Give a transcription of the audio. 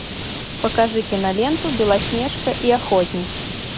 покажи киноленту белоснежка и охотник